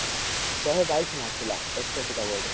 ସାହେ ବାଇଶି ମାରିଥିଲା ଏକଷଠି ଟା ball ରେ